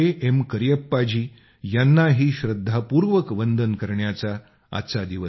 करियप्पा जी यांनाही श्रद्धापूर्वक वंदन करण्याचा आजचा दिवस आहे